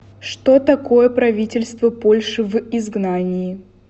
что такое правительство польши в изгнании